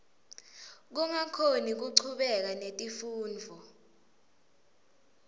kungakhoni kuchubeka netifundvo